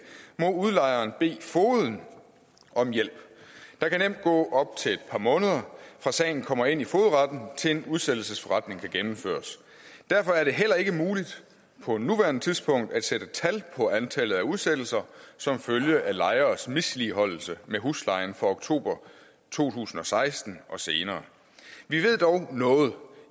må udlejeren bede fogeden om hjælp der kan nemt gå op til et par måneder fra sagen kommer ind i fogedretten til en udsættelsesforretning kan gennemføres derfor er det heller ikke muligt på nuværende tidspunkt at sætte tal på antallet af udsættelser som følge af lejeres misligholdelse med huslejen for oktober to tusind og seksten og senere vi ved dog noget